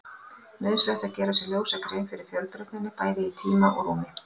Nauðsynlegt er að gera sér ljósa grein fyrir fjölbreytninni, bæði í tíma og rúmi.